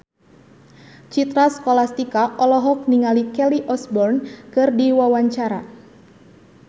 Citra Scholastika olohok ningali Kelly Osbourne keur diwawancara